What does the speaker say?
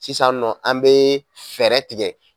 Sisan nɔ, an be fɛɛrɛ tigɛ.